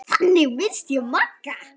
Þannig minnist ég Magga.